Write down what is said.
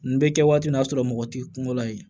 Nin bɛ kɛ waati min na n'a sɔrɔ mɔgɔ t'i kungo la yen